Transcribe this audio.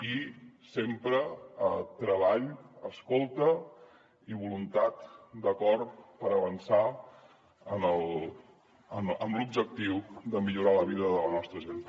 i sempre treball escolta i voluntat d’acord per avançar en l’objectiu de millorar la vida de la nostra gent